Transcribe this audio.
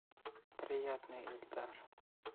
приятный эльдар